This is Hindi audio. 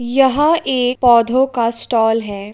यह एक पोधों का स्टॉल है।